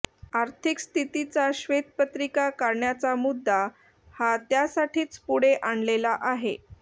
आर्थिक स्थितीची श्वेतपत्रिका काढण्याचा मुद्दा हा त्यासाठीच पुढे आणलेला आहे